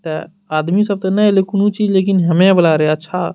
ते आदमी सब ते ने ऐले कुनू चीज लेकिन हेमे वला रहे अच्छा --